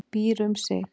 Býr um sig.